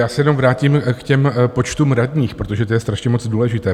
Já se jenom vrátím k těm počtům radních, protože to je strašně moc důležité.